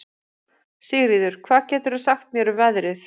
Sigríður, hvað geturðu sagt mér um veðrið?